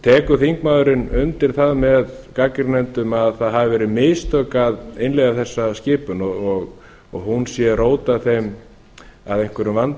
tekur þingmaðurinn undir það með gagnrýnendum að það hafi verið mistök að innleiða þessa skipun og hún sé rót að einhverjum vanda hér